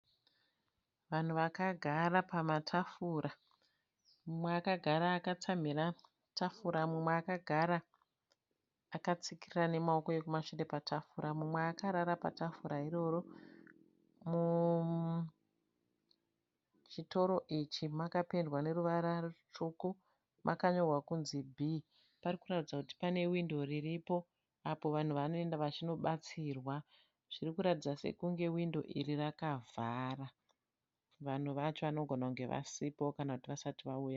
Vanhu vakagara pamatafura. Mumwe akagara akatsamhira tafura, mumwe akagara akatsikirira nemaoko ekumashure patafura mumwe akarara patafura iroro. Muchitoro ichi makapendwa neruvara rutsvuku, makanyorwa kunzi Bhii. Parikuratidza kuti pane windo riripo apo vanhu vanoenda vachinobatatsirwa ipapo. Zvirikuratidza sekunge hwindo iri rakavhara. Vanhu vacho vanogona kunge vasipo kana kuti vasati vauya.